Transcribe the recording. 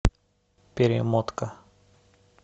перемотка